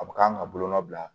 A bɛ k'an ka bolonɔ bila